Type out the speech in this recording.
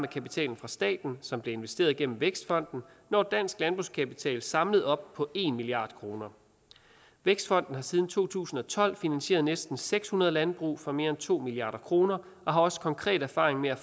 kapitalen fra staten som blev investeret igennem vækstfonden når dansk landbrugskapital samlet op på en milliard kroner vækstfonden har siden to tusind og tolv finansieret næsten seks hundrede landbrug for mere end to milliard kroner og har også konkret erfaring med at